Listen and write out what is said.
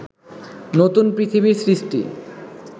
নতুন পৃথিবীর সৃষ্টি